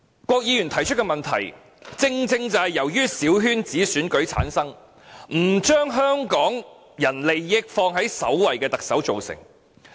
郭議員提出的問題，正正是由產生於小圈子選舉，不把香港人利益放在首位的特首造成。